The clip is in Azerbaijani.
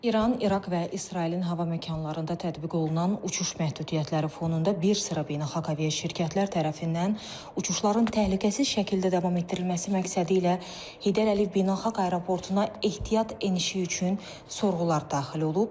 İran, İraq və İsrailin hava məkanlarında tətbiq olunan uçuş məhdudiyyətləri fonunda bir sıra beynəlxalq aviaşirkətlər tərəfindən uçuşların təhlükəsiz şəkildə davam etdirilməsi məqsədilə Heydər Əliyev Beynəlxalq Aeroportuna ehtiyat enişi üçün sorğular daxil olub.